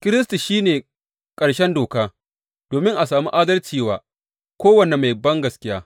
Kiristi shi ne ƙarshen doka domin a sami adalci wa kowane mai bangaskiya.